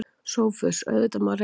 SOPHUS: Auðvitað má reyna.